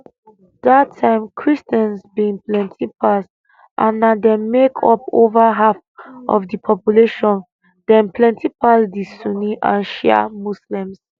dat time christians bin plenti pass and na dem make up over half of di population dem plenti pass di sunni and shia muslims